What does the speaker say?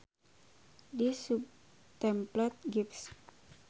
This subtemplate gives.